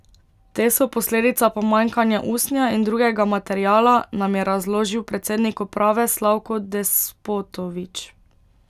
Te so posledica pomanjkanja usnja in drugega materiala, nam je razložil predsednik uprave Slavko Despotovič.